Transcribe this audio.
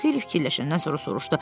Pux xeyli fikirləşəndən sonra soruşdu.